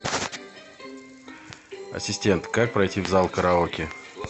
ассистент как пройти в зал караоке